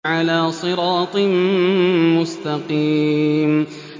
عَلَىٰ صِرَاطٍ مُّسْتَقِيمٍ